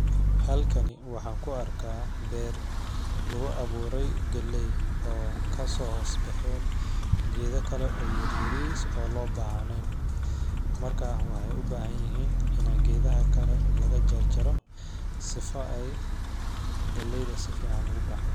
Halkani waxaan ku arkaa beer akgu awiiray galleey oo kasoo hoos baxeen geeda kale oo yaryariis oo loo baahneen markaa waxeey u baahan yihiin inaa geedaha kale laga jarjaro sifa ay galleyda si fiican ugu baxdo .